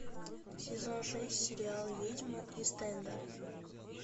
сезон шесть сериал ведьмы ист энда